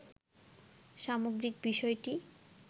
সামগ্রিক বিষয়টি